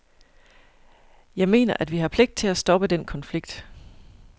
Jeg mener, at vi har pligt til at stoppe den konflikt.